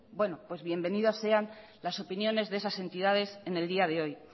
pues bienvenidas sean las opiniones de esas entidades en el día de hoy